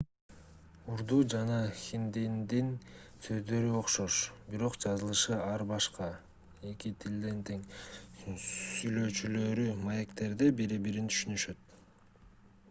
урду жана хиндинин сөздөрү окшош бирок жазылышы ар башка эки тилдин тең сүйлөөчүлөрү маектерде бири-бирин түшүнүшөт